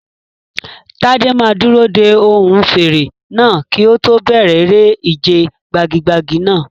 Tade máa dúró de ohùn fèrè náà kí ó tó bẹ̀rẹ̀ eré ìje gbagi-gbagi náà.